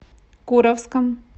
куровском